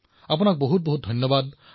অশেষ ধন্যবাদ